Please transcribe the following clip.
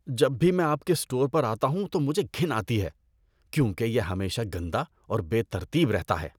جب بھی میں آپ کے اسٹور پر آتا ہوں تو مجھے گھن آتی ہے کیونکہ یہ ہمیشہ گندا اور بے ترتیب رہتا ہے۔